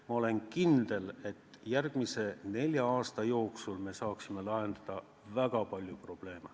Ma olen kindel, et järgmise nelja aasta jooksul me saaksime lahendada väga palju probleeme.